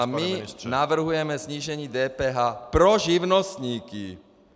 A my navrhujeme snížení DPH pro živnostníky!